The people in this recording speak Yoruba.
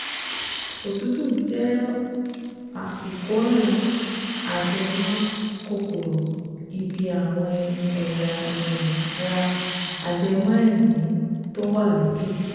Òtútù jẹ́ ìkóràn ajẹmọ́ kòkòrò ibi àwọn ẹ̀ya um ra ajẹmọ́ èémí tó wà lókè